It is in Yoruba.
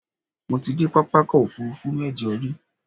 Mo ti dé pápákọ̀-òfurufú mẹ́jọ rí.